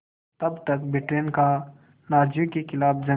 तब तक ब्रिटेन का नाज़ियों के ख़िलाफ़ जंग